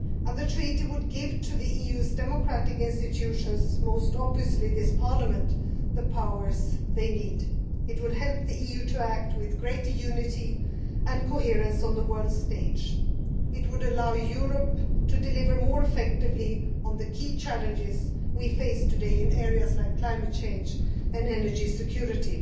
The Treaty would give to the EU's democratic institutions, most obviously this Parliament, the powers they need. It would help the EU to act with greater unity and coherence on the world stage. It would allow Europe to deliver more effectively on the key challenges we face today in areas like climate change and energy security.